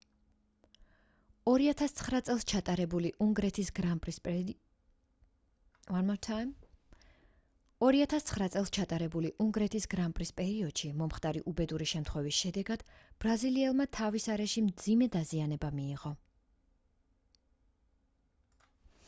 2009 წელს ჩატარებული უნგრეთის გრანპრის პერიოდში მომხდარი უბედური შემთხვევის შედეგად ბრაზილიელმა თავის არეში მძიმე დაზიანება მიიღო